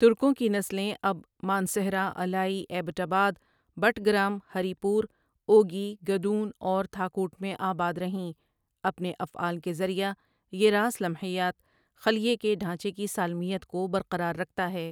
ترکوں کی نسلیں اب مانسہرہ، الائی، ایبٹ آباد، بٹگرام، ہری پور، اوگی، گدون اور تهاکوٹ میں آباد رہیں اپنے افعال کے ذریعہ یہ راس لمحیات، خلیے کے ڈھانچے کی سالمیت کو برقرار رکھتا ہے ۔